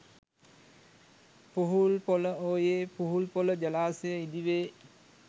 පුහුල්පොළ ඔයේ පුහුල්පොළ ජලාශය ඉදි වේ